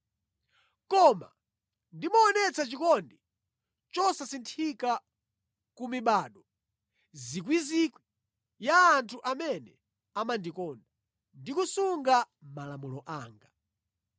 Koma ndimaonetsa chikondi chosasinthika ku mibado miyandamiyanda ya anthu amene amandikonda, ndi kusunga malamulo anga.